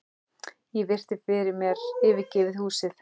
Ég virti fyrir mér yfirgefið húsið.